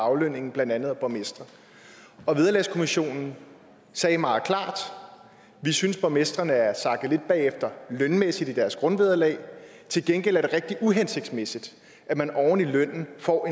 aflønningen af blandt andet borgmestre og vederlagskommissionen sagde meget klart vi synes borgmestrene er sakket lidt bagefter lønmæssigt i deres grundvederlag til gengæld er det rigtig uhensigtsmæssigt at man oven i lønnen får